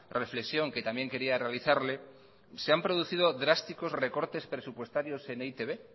reflexión que también quería realizarle se han producido drásticos recortes presupuestarios en e i te be